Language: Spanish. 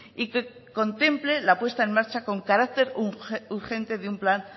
y que contemple la puesta en marcha con carácter urgente de un plan